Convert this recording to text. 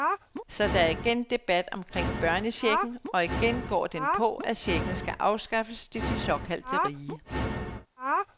Så er der igen debat omkring børnechecken, og igen går den på, at checken skal afskaffes til de såkaldte rige.